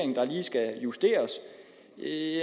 er